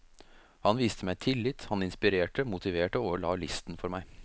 Han viste meg tillit, han inspirerte, motiverte og la listen for meg.